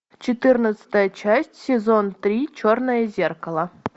четырнадцатая часть сезон три черное зеркало